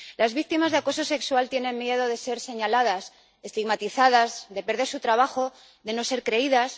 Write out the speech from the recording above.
Las víctimas de acoso sexual tienen miedo de ser señaladas, estigmatizadas, de perder su trabajo, de no ser creídas.